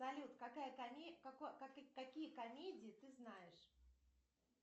салют какие комедии ты знаешь